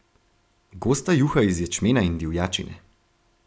Gosta juha iz ječmena in divjačine.